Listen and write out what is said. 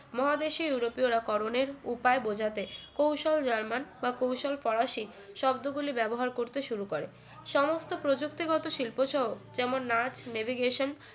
মহাদেশি ইউরোপীয়রা করনের উপায় বোঝাতে কৌশল জার্মান বা কৌশল ফরাসি শব্দ গুলি ব্যবহার করতে শুরু করে সমস্ত প্রযুক্তিগত শিল্পসহ যেমন নাচ navigation